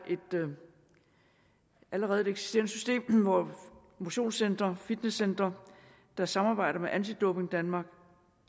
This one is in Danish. allerede er et eksisterende system hvor motionscentre og fitnesscentre der samarbejder med anti doping danmark